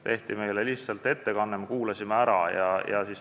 Meile tehti lihtsalt ettekanne ja me kuulasime selle ära.